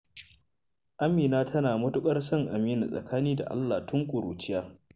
Amina tana matuƙar son Aminu tsakani da Allah tun ƙuruciya.